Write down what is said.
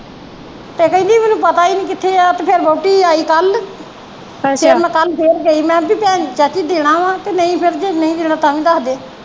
ਤੇ ਕਹਿੰਦੀ ਮੈਨੂੰ ਪਤਾ ਈ ਨਹੀਂ ਆ ਕਿੱਥੇ ਤੇ ਫਿਰ ਵੋਹਟੀ ਆਈ ਕੱਲ ਫਿਰ ਕੱਲ ਮੈ ਫਿਰ ਗਈ ਮੈ ਕਿਹਾ ਪੀ ਭੈਣਜੀ ਚਾਚੀ ਦੇਣਾ ਵਾ ਕੇ ਨਹੀਂ ਫਿਰ ਜੇ ਨਹੀਂ ਦੇਣਾ ਤਾ ਵੀ ਦਸਦੇ।